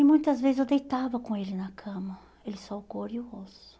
E muitas vezes eu deitava com ele na cama, ele só o couro e o osso.